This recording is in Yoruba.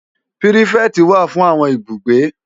Pirifèti wá fún áwòn ibúgbé